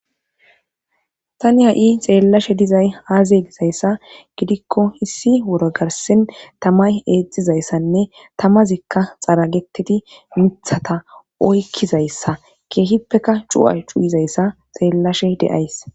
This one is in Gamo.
tani ha7i xeellashe dizay aaziye gizayssa gidikko hissi woro garsin tamay eexxizayssanne tamazikka xaragetidi mithata oykkizayssa keehippeka cu7a cuyizayssa xeellashe deays